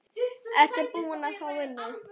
Ertu búin að fá vinnu?